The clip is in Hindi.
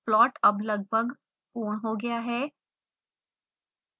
प्लॉट अब लगभग पूर्ण हो गया है